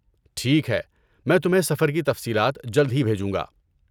ٹھیک ہے، میں تمہیں سفر کی تفصیلات جلد ہی بھیجوں گا۔